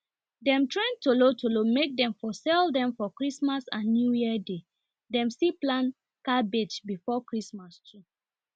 dem train tolotolo make dem for sell dem for christmas and newyear day dem still plant cabbage before christmas too